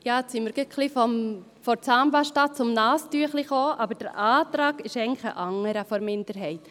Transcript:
Nun sind wir von der Zahnpasta zum Taschentuch gelangt, aber der Antrag der Minderheit ist eigentlich ein anderer: